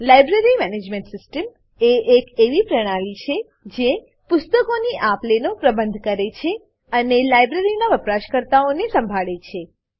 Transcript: library management system એ એક એવી પ્રણાલી છે જે પુસ્તકોની આપ લેનો પ્રબંધ કરે છે અને લાઇબ્રેરીનાં વપરાશકર્તાઓને સંભાળે છે